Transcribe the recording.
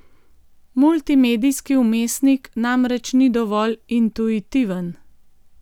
Multimedijski vmesnik namreč ni dovolj intuitiven.